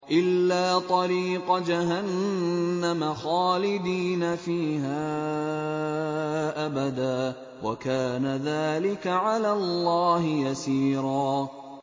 إِلَّا طَرِيقَ جَهَنَّمَ خَالِدِينَ فِيهَا أَبَدًا ۚ وَكَانَ ذَٰلِكَ عَلَى اللَّهِ يَسِيرًا